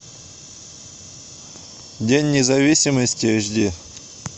день независимости эйч ди